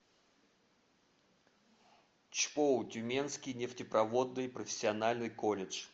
чпоу тюменский нефтепроводный профессиональный колледж